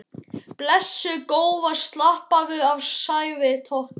Blessuð góða slappaðu af sagði Tóti.